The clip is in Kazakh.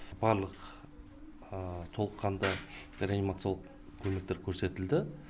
барлық толыққанды реанимациялық көмектер көрсетілді